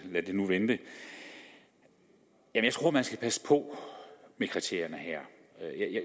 lad det nu vente jeg tror man skal passe på med kriterierne her